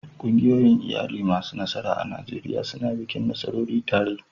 Ƙungiyoyin iyali masu nasara a Najeriya suna bikin nasarori tare.